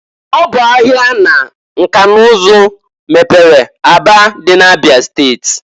Ọ bụ ahia na nka n'ụzụ mepere Aba dị na Abịa steti.